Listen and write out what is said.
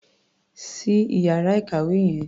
Ṣí ìyára ìkàwé yẹn.